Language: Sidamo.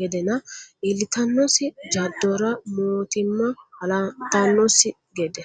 gedenna iillittanosi jadora mootimma halantanosi gede.